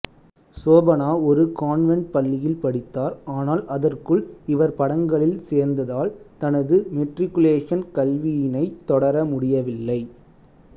சோபனா ஒரு கான்வென்ட் பள்ளியில் படித்தார் ஆனால் அதற்குள் இவர் படங்களில் சேர்ந்ததால் தனது மெட்ரிகுலேஷன் கல்வியினைத் தொடர முடியவில்லை